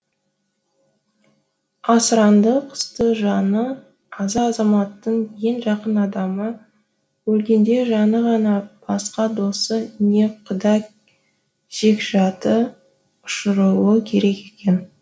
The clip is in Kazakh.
асыранды құсты жаны аза азаматтың ең жақын адамы өлгенде жаны ғана басқа досы не құда жекжаты ұшыруы керек екен